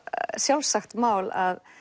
sjálfsagt mál að